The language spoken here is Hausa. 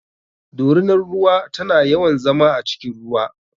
Dorinar ruwa tana yawan zama a cikin ruwa.